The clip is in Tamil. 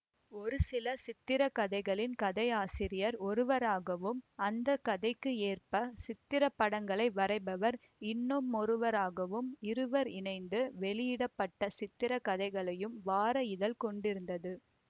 ஒருசில சித்திரக்கதைகளின் கதை ஆசிரியர் ஒருவராகவும் அந்த கதைக்கு ஏற்ப சித்திரப் படங்களை வரைபவர் இன்னுமொருவராகவும் இருவர் இணைந்து வெளியிட பட்ட சித்திரக்கதைகளையும் வார இதழ் கொண்டிருந்தது